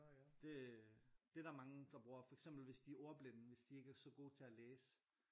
Det det er der mange der bruger for eksempel hvis de er ordbilde hvis de ikke er så gode til at læse